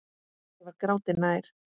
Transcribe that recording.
Ég var gráti nær.